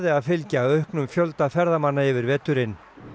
að fylgja auknum fjölda ferðamanna yfir veturinn